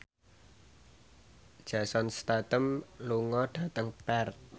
Jason Statham lunga dhateng Perth